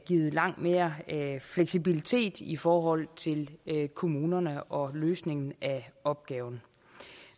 givet langt mere fleksibilitet i forhold til kommunerne og løsningen af opgaven